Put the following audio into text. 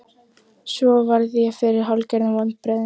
Svo varð ég fyrir hálfgerðum vonbrigðum.